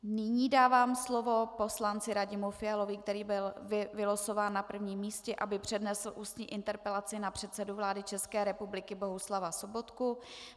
Nyní dávám slovo poslanci Radimu Fialovi, který byl vylosován na prvním místě, aby přednesl ústní interpelaci na předsedu vlády České republiky Bohuslava Sobotku.